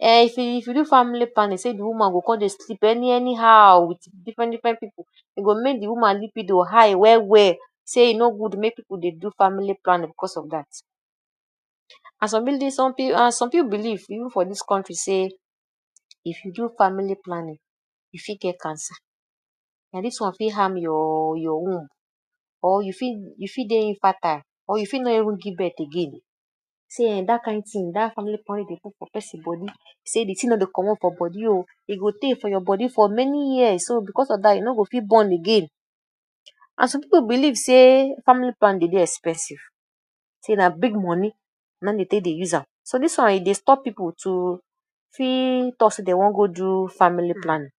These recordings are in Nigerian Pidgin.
um if you do family planning, sey de woman go come dey sleep any anyhow wit different different pipu. E go make de woman libido high well well. Sey e no good make pipu dey do family planning because of dat.? And some pipu believe even for dis country sey if you do family planning you fit get cancer, na dis one fit harm harm your your womb or you fit you fit dey infertile or you fit no even give birth again. See um dat kain thing, dat family planning dey put for person body, sey de thing no dey comot for body oo, e go tey for your body for many years. So because of dat, you no go fit born again. And some pipu believe sey family planning dey dey expensive sey na big money na im dey take dey use am. So dis one e dey stop pipu to fit talk sey dey wan go do family planning.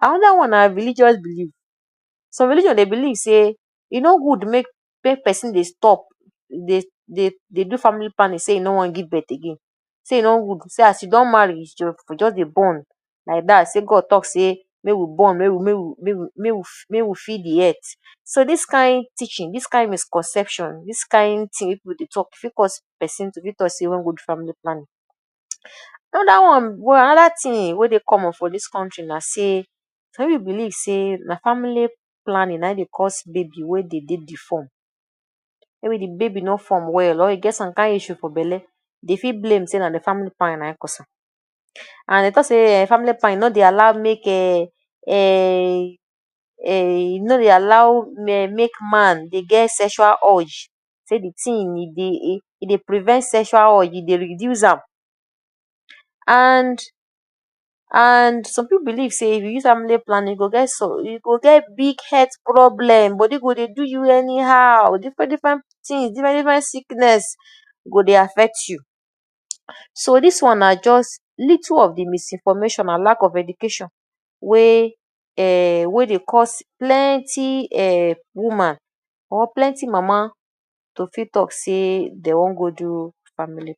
Another one na religious belief. Some religion dey believe sey e no good make make person dey stop dey dey dey do family planning sey e no wan give birth again. Say e no good as you don marry, just just dey born like dat. Say God talk sey make we born,? make we fill de earth. So dis kain teaching, dis kain misconception, dis kain thing wey pipu dey talk fit cause person to talk sey e no wan go do family planning. Another one wey another thing wey dey common for dis country na sey some pipu believe sey na family planning na im dey curse baby way dey dey deform. Maybe de baby no form well or e get some kain issue for belle, dey fit blame sey na de family planning na im cause am. And dey talk sey family planning no dey allow make um e no dey allow um make man dey get sexual urge. Say de thing e dey e dey prevent sexual urge, e dey reduce am and and some pipu believe sey if you family planning you go get?, you go get big health problem. Body go dey do you anyhow, different different things, different different sickness go dey affect you. So dis one na just little of de misinformation and lack of education wey um wey dey cause plenty um woman or plenty mama to fit talk sey dey wan go do family.